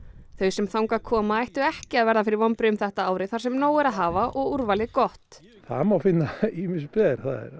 þau sem þangað koma ættu ekki að verða fyrir vonbrigðum þetta árið þar sem nóg er að hafa og úrvalið gott það má finna ýmis ber